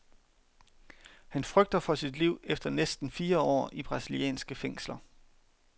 Han frygter for sit liv efter næsten fire år i brasilianske fængsler.